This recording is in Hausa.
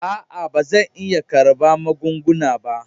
A'a ba zan iya karɓa magunguna ba.